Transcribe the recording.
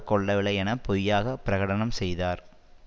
கொல்லவில்லை என பொய்யாக பிரகடனம் செய்தார்